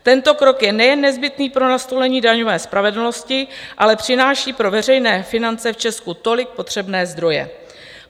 Tento krok je nejen nezbytný pro nastolení daňové spravedlnosti, ale přináší pro veřejné finance v Česku tolik potřebné zdroje.